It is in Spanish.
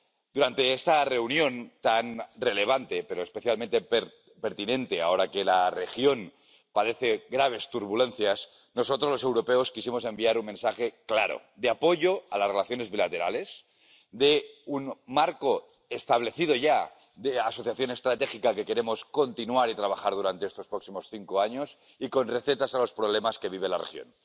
Durante esta reunión tan relevante, pero especialmente pertinente ahora que la región padece graves turbulencias, nosotros, los europeos, quisimos enviar un mensaje claro, de apoyo a las relaciones bilaterales, de un marco, establecido ya, de asociación estratégica que queremos continuar y trabajar durante estos próximos cinco años, y con recetas para los problemas que vive la región.